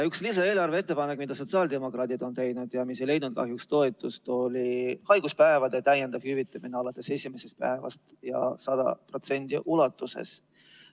Üks lisaeelarve ettepanek, mida sotsiaaldemokraadid on teinud ja mis ei leidnud kahjuks toetust, oli haiguspäevade täiendav hüvitamine alates esimesest päevast ja 100% ulatuses.